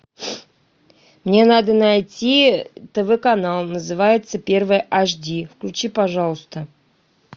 мне надо найти тв канал называется первый аш ди включи пожалуйста